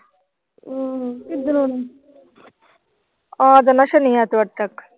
ਆ ਜਾਣਾ ਸ਼ਨੀ ਐਤਵਾਰ ਤੱਕ।